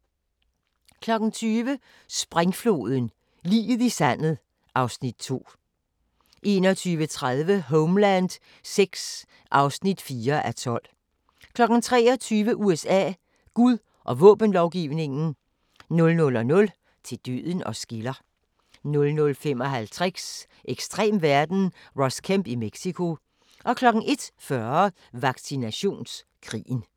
20:00: Springfloden – liget i sandet (Afs. 2) 21:30: Homeland VI (4:12) 23:00: USA: Gud og våbenlovgivningen 00:00: Til døden os skiller 00:55: Ekstrem verden - Ross Kemp i Mexico 01:40: Vaccinationskrigen